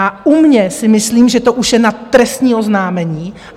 A u mě si myslím, že to už je na trestní oznámení.